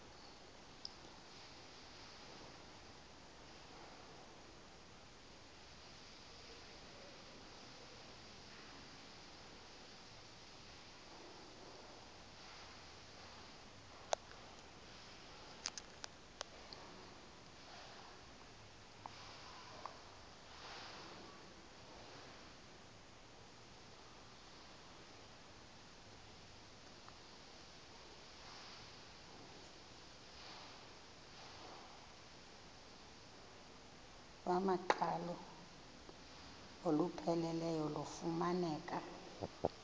iwamaqhalo olupheleleyo lufumaneka